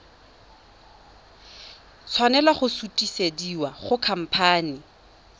tshwanela go sutisediwa go khamphane